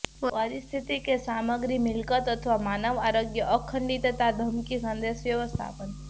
પરિસ્થિતિ કે સામગ્રી મિલકત અથવા માનવ આરોગ્ય અખંડિતતા ધમકી સંદેશ વ્યવસ્થાપન